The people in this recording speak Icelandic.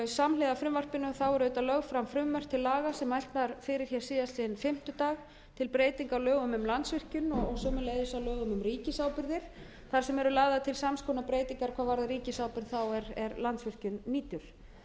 samhliða frumvarpinu eru auðvitað lögð fram frumvörp til laga sem mælt var fyrir hér síðastliðinn fimmtudag til breytinga á lögum um landsvirkjun og sömuleiðis á lögum um ríkisábyrgðir þar sem eru lagðar til sams konar breytingar hvað varðar ríkisábyrgð þá er landsvirkjun nýtur þau lög eru á